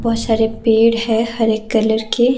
बहुत सारे पेड़ है हरे कलर के।